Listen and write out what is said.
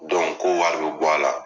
k'o wari bɛ bɔ a la.